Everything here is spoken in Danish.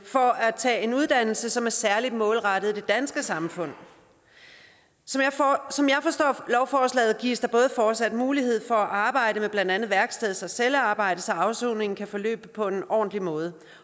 for at tage en uddannelse som er særlig målrettet det danske samfund som jeg forstår lovforslaget gives der fortsat mulighed for at arbejde med blandt andet værksteds og cellearbejde så afsoningen kan forløbe på en ordentlig måde